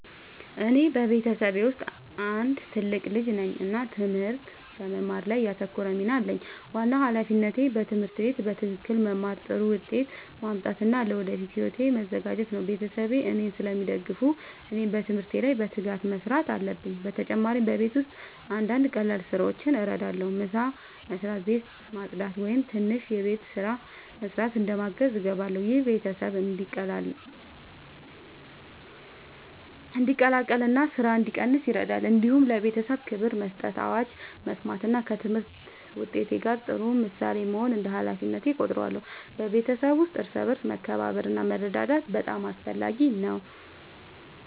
እኔ በቤተሰቤ ውስጥ አንድ ትልቅ ልጅ ነኝ እና ትምህርት በመማር ላይ ያተኮረ ሚና አለኝ። ዋናው ሃላፊነቴ በትምህርት ቤት በትክክል መማር፣ ጥሩ ውጤት ማምጣት እና ለወደፊት ሕይወቴ መዘጋጀት ነው። ቤተሰቤ እኔን ስለሚደግፉ እኔም በትምህርት ላይ በትጋት መስራት አለብኝ። በተጨማሪ በቤት ውስጥ አንዳንድ ቀላል ስራዎችን እረዳለሁ። ምሳ መስበስ፣ ቤት ማጽዳት ወይም ትንሽ የቤት ስራ መስራት እንደ ማገዝ እገባለሁ። ይህ ቤተሰብ እንዲቀላቀል እና ስራ እንዲቀንስ ይረዳል። እንዲሁም ለቤተሰቤ ክብር መስጠት፣ አዋጅ መስማት እና ከትምህርት ውጤት ጋር ጥሩ ምሳሌ መሆን እንደ ሃላፊነቴ እቆጥራለሁ። በቤተሰብ ውስጥ እርስ በርስ መከባበር እና መረዳዳት በጣም አስፈላጊ ነው።